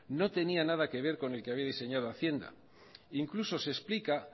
no tenía nada que ver con el que había diseñado hacienda e incluso se explica